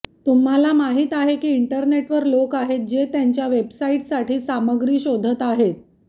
तुम्हाला माहिती आहे की इंटरनेटवर लोक आहेत जे त्यांच्या वेबसाइट्ससाठी सामग्री शोधत आहेत